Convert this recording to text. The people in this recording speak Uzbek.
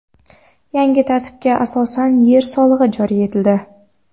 Yangi tartibga asosan yer solig‘i joriy etildi.